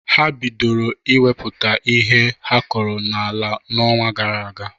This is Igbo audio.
Ha bidoro inwepụta ihe ha kọrọ n'ala n'ọnwa gara aga.